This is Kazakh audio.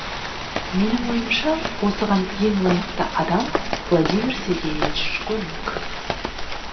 менің ойымша осыған ең лайықты адам владимир сергеевич школьник